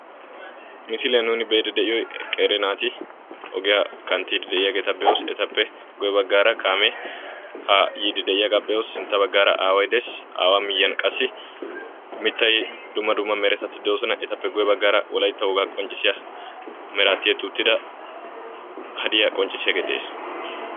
misiliyan nuuni be'iidi de'iyoy qeeri naati ogiyaa kantiidi de'iyaageetia be'oos, etappe guye bagaara kaamee haa kantiidi de'ees. mitay dumma dumma meretati de'oosona etappe ya bagaara hadiya qonccissiyagee de''es.